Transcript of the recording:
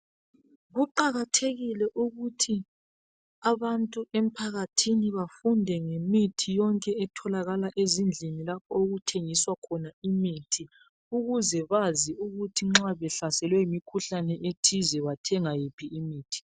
Kuqakathekile ukuthi abantu emphakathini bafunde ngemithi yonke etholakala ezindlini lapho okuthengiswa khona imithi ukuze bazi nxa behlaselwe yimikhuhlane ethize bathenga yiphi imithi.